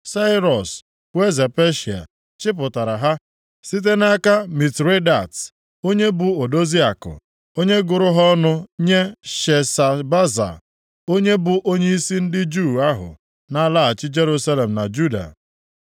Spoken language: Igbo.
Sairọs bụ eze Peshịa, chịpụtara ha site nʼaka Mitredat, onye bụ odozi akụ, onye gụrụ ha ọnụ nye Sheshbaza, onye bụ onyeisi ndị Juu ahụ na-alaghachi Jerusalem na Juda.